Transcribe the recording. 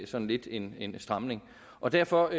sådan lidt en en stramning og derfor